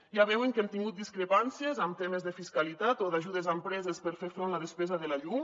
ja veuen que hem tingut discrepàncies en temes de fiscalitat o d’ajudes a empreses per fer front a la despesa de la llum